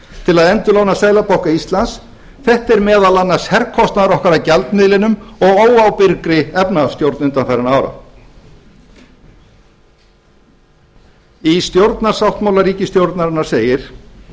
til að endurlána seðlabanka íslands þetta er meðal annars herkostnaður okkar af gjaldmiðlinum og óábyrgri efnahagsstjórn undanfarinna ára í stjórnarsáttmála ríkisstjórnarinnar segir